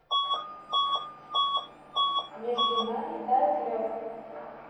между нами тает лед